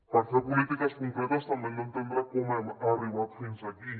per fer polítiques concretes també hem d’entendre com hem arribat fins aquí